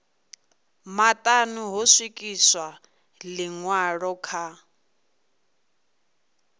maṱanu ho swikiswa ḽiṅwalo kha